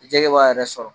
Jɛgɛ b'a yɛrɛ sɔrɔ